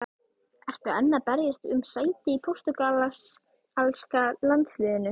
Ertu enn að berjast um sæti í portúgalska landsliðinu?